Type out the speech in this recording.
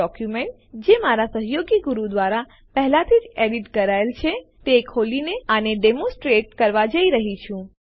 હું એક ડોક્યુમેન્ટ જે મારા સહયોગી ગુરુ દ્વારા પહેલાથી જ એડિટ કરાયેલ છે તે ખોલીને આને ડેમોનસ્ટ્રેટ કરવા જઈ રહ્યો છું